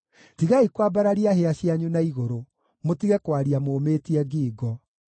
Tigai kwambararia hĩa cianyu na igũrũ, mũtige kwaria mũũmĩtie ngingo.’ ”